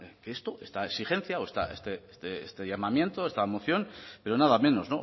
que esto esta exigencia o este llamamiento o esta moción pero nada menos